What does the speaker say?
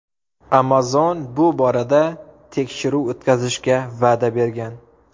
Amazon bu borada tekshiruv o‘tkazishga va’da bergan.